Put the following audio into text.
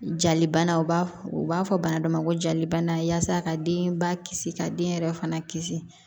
Jalibanaw b'a fɔ u b'a fɔ bana dɔ ma ko jalibana yaasa ka denba kisi ka den yɛrɛ fana kisi